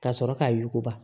Ka sɔrɔ k'a yuguba